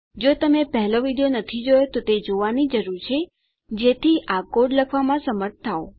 જો તમે પહેલો વિડીયો નથી જોયો તો તે જોવાની જરૂર છે જેથી આ કોડ લખવામાં સમર્થ થાવ